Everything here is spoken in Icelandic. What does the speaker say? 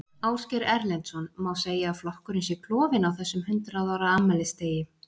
Ásgeir Erlendsson: Má segja að flokkurinn sé klofinn á þessum hundrað ára afmælisdegi?